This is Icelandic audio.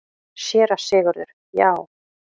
SÉRA SIGURÐUR: Já!